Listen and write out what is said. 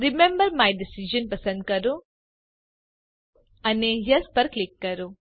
remember my decision પસંદ કરો અને યેસ પર ક્લિક કરો